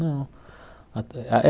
Não. Até a eh